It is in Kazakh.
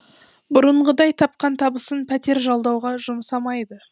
бұрынғыдай тапқан табысын пәтер жалдауға жұмсамайды